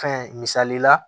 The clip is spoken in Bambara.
Fɛn misali la